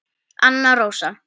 Anna Rósa.